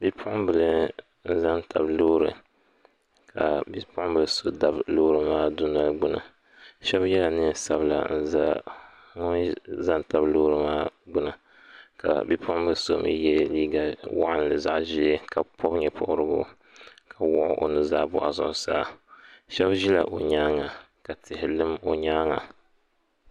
Bipuɣin' bila n-za n-tabi loori ka bipuɣin' Bili so dabi loori maa dunoli gbuni shɛba yela neen' sabila n-za ŋun za n-tabi loori maa gbuni ka bipuɣin' bili so mi ye liiga waɣinli zaɣ' ʒee ka pɔbi ne' pɔbirigu ka wuɣi o nuzaa bɔɣu zuɣusaa shɛba ʒila o nyaaga ka tihi lim o nyaaga.